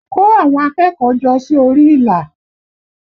Kó àwọn akẹ́kọ̀ọ́ jọ sí orí ìlà!